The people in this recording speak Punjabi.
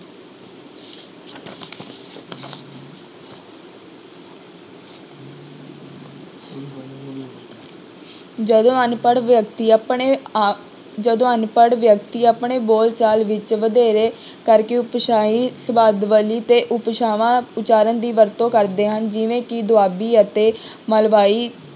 ਜਦੋਂ ਅਨਪੜ੍ਹ ਵਿਅਕਤੀ ਆਪਣੇ ਆ~ ਜਦੋਂ ਅਨਪੜ੍ਹ ਵਿਅਕਤੀ ਆਪਣੇ ਬੋਲ ਚਾਲ ਵਿੱਚ ਵਧੇਰੇ ਕਰਕੇ ਉਪਭਾਸਾਈ ਸਬਦਾਵਲੀ ਤੇ ਉਪਭਾਸ਼ਾਵਾਂ ਉਚਾਰਨ ਦੀ ਵਰਤੋਂ ਕਰਦੇ ਹਨ ਜਿਵੇਂ ਕਿ ਦੁਆਬੀ ਅਤੇ ਮਲਵਾਈ